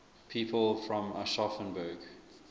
people from aschaffenburg